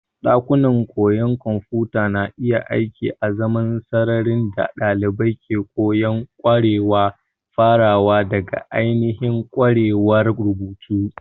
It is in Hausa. Ɗakunan koyon kwamfuta na iya aiki azaman sararin da ɗalibai ke koyon ƙwarewa farawa daga ainihin ƙwarewar rubutu.